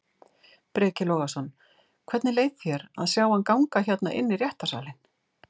Breki Logason: Hvernig leið þér að sjá hann ganga hérna inn í réttarsalinn?